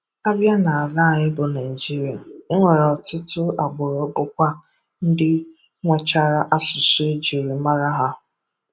A bịa n'ala anyị bụ Naịjịria, e nwere ọtụtụ agbụrụ bụkwa ndị nwechara asụsụ ejiri mara ha.